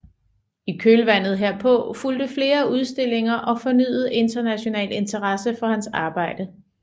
I kølvandet herpå fulgte flere udstillinger og fornyet international interesse for hans arbejde